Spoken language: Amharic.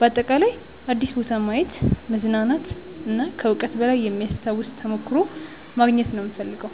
በአጠቃላይ አዲስ ቦታ ማየት፣ መዝናናት እና ከዕውቀት በላይ የሚያስታውስ ተሞክሮ ማግኘት ነው የምፈልገው።